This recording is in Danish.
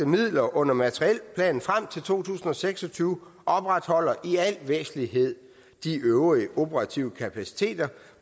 midler under materielplanen frem til to tusind og seks og tyve opretholder i al væsentlighed de øvrige operative kapaciteter